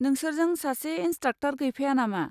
नोंसोरजों सासे इनसट्राकट'र गैफाया नामा?